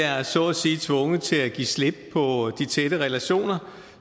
er så at sige tvunget til at give slip på de tætte relationer